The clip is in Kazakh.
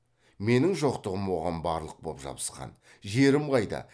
менің жоқтығым оған барлық боп жабысқан жерім қайда